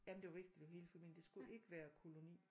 Jamen det var vigtigt at det var hele familier det skulle ikke være koloni